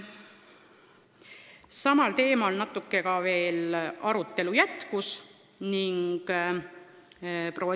Samal teemal arutelu jätkus natuke veelgi.